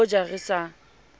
le ho ja re sa